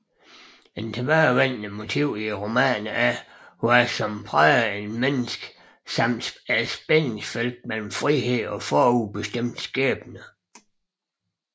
Et tilbagevendende motiv i romanerne er hvad som præger et menneske samt spændingsfeltet mellem frihed og forudbestemt skæbne